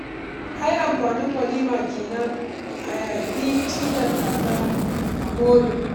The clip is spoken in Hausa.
Ai amfanin walima kenan a yagi cinyar kaza a more.